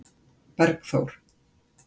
Bergþór